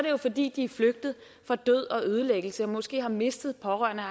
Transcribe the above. jo fordi de er flygtet fra død og ødelæggelse og måske har mistet pårørende og